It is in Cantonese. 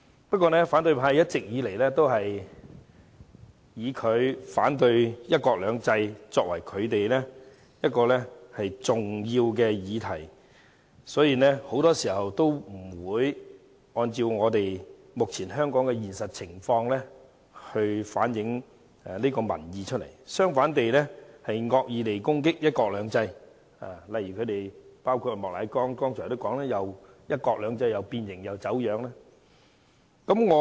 然而，一直以來，反對派以反對"一國兩制"作為其重要議題，所以他們很多時候不會按照香港目前的現實情況反映民意，相反地更會惡意攻擊"一國兩制"，包括莫乃光議員剛才提到"一國兩制"變形、走樣云云。